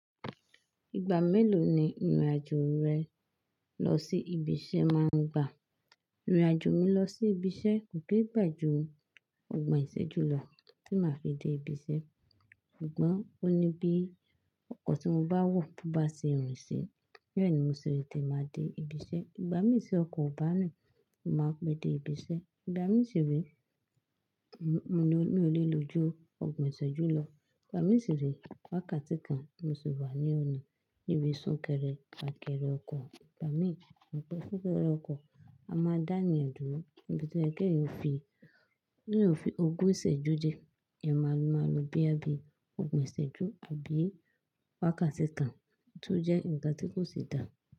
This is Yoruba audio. Ìgbà mélòó ni ìrìnàjò rẹ lọ sí ibi iṣẹ́ máa ń gba? Ìrìnàjò mi lọ sí ibi iṣẹ́ kò kí ń gbà ju ọgbọ̀n ìṣẹ́jú lọ tí màá fi dé ibi iṣẹ́. Ṣùgbọ́n ó ní bí ọkọ̀ tí mo bá wọ̀ bá ṣe rin sí, bẹ́ẹ̀ ni mo sì lè tẹ̀te ma dé ibi iṣẹ́. Ìgbà mí ti ọkọ̀ bá rin, mo màá pe de ibi iṣẹ́. Ìgbà mí sì re, mi ò lè lo ju ọgbọ̀n ìṣẹ́jú lọ. Ìgbà mí sì re wákàtí kan mo sì wà ní ọ̀nà, ibi sún kẹrẹ, fa kẹrẹ ọkọ̀. Ìgbà mí, mo pẹ́ fún kẹrẹ ọkọ̀, a máa dá a ní ọ̀dùn, bíbẹ́ẹ̀ ni ẹgbẹ́ yẹn ó fi ogún ìṣẹ́jú dé. Ẹ máa lo máa lo bí ẹ bí ogún ìṣẹ́jú àbí wákàtí kan tó jẹ́ ǹkan tí kò sì dáa.